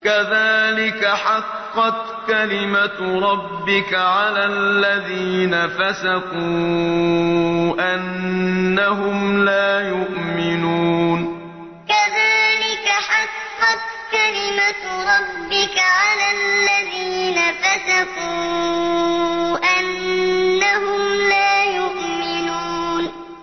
كَذَٰلِكَ حَقَّتْ كَلِمَتُ رَبِّكَ عَلَى الَّذِينَ فَسَقُوا أَنَّهُمْ لَا يُؤْمِنُونَ كَذَٰلِكَ حَقَّتْ كَلِمَتُ رَبِّكَ عَلَى الَّذِينَ فَسَقُوا أَنَّهُمْ لَا يُؤْمِنُونَ